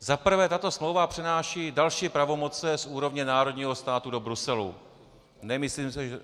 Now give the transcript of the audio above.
Za prvé, tato smlouva přenáší další pravomoci z úrovně národního státu do Bruselu.